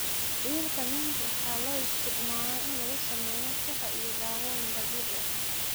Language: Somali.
Dhirta mint waxaa loo isticmaalaa in lagu sameeyo shaah iyo dawooyin dabiici ah.